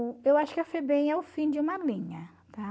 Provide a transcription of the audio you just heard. eu acho que a FEBEM é o fim de uma linha, tá?